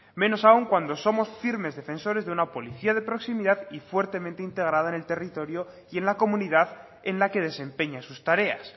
menos aun cuando somos firmes defensores de una policía de proximidad y fuertemente integrada en el territorio y en la comunidad en la que desempeña sus tareas